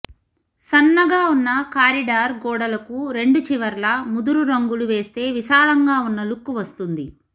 సన్నగా ఉన్న కారిడార్ గోడలకు రెండు చివర్లా ముదురు రంగులు వేస్తే విశాలంగా ఉన్న లుక్ వస్తుంది